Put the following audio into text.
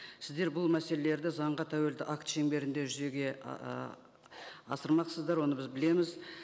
сіздер бұл мәселелерді заңға тәуелді акт шеңберінде жүзеге ыыы асырмақсыздар оны біз білеміз